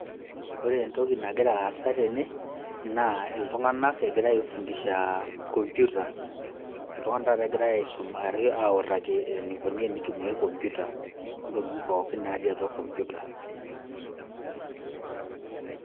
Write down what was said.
ore entoki nagira aasa tene naa iltunganak egira aifundisha computer. iltunganak taata egirae aisum autaki enikoni tenitumiae computer ontokitin pookin natii atua computer.